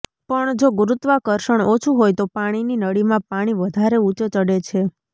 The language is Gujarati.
પણ જો ગુરુત્વાકર્ષણ ઓછું હોય તો પાણીની નળીમાં પાણી વધારે ઊંચે ચઢે છે